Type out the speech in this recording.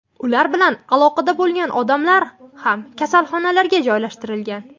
Ular bilan aloqada bo‘lgan odamlar ham kasalxonalarga joylashtirilgan.